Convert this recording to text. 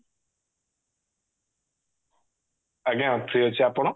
ଆଜ୍ଞା free ଅଛି ଆପଣ